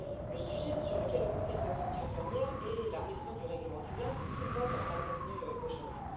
Le sujet sur lequel le Conseil doit sortir de l'ornière est la révision du règlement Dublin, tout le monde en a convenu aujourd'hui.